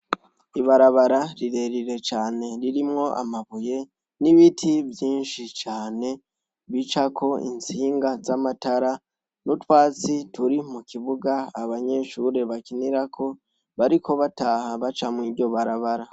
ibarabara rirerire cane ririmwo amabuye n'ibiti byinshi cane bica ko intsinga z'amatara n'utwasi turi mu kibuga abanyeshuri bakinirako bariko bataha baca mw'iryo barabara